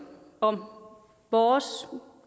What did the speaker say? om vores